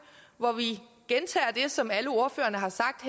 hvor vi gentager det som alle ordførerne har sagt